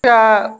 Ka